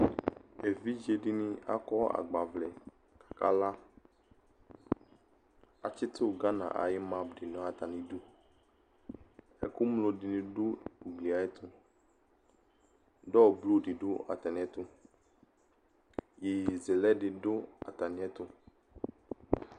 evidze di ni akɔ agbavlɛ k'aka la atsito Ghana ayi map di n'atami du ɛkò ŋlo di ni do ugli ayɛto dɔ blu di do atamiɛto yeye zɛlɛ di do atamiɛto